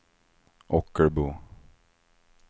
Ockelbo